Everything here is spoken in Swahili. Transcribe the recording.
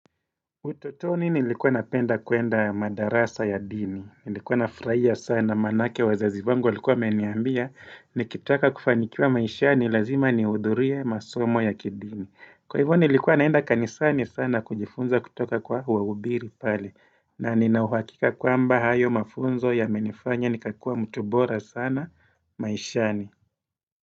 Ututoni nilikuwa napenda kuenda madarasa ya dini, nilikuwa nafrahia sana manake wazazi wangu walikua wamenambia ni kitaka kufanikiwa maishani lazima niudhuriye masomo ya kidini. Kwa hivyo nilikuwa naenda kanisani sana kujifunza kutoka kwa wahubiri pale na ninauhakika kwamba hayo mafunzo ya menifanya nikakua mtu bora sana maishani.